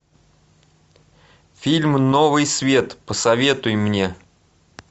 фильм новый свет посоветуй мне